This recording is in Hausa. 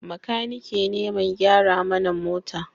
Makaniki ne mai gyara mana mota